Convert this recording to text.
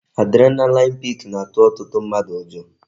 Adrenaline peak na-atụ ọtụtụ mmadụ ụjọ